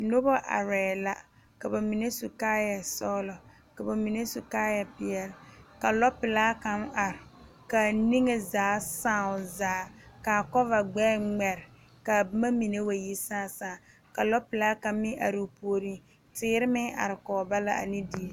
Noba arɛɛ la ka ba mine su kaayɛ sɔgelɔ ka ba mine su kaayɛ peɛle ka lɔ pelaa kaŋ are kaa niŋe zaa saa o zaa kaa kɔva gbɛɛ ŋmɛre kaa boma mine wa yi saa saa ka lɔpelaa kaŋ meŋ are o puoriŋ teere meŋ are kɔge ba la ane die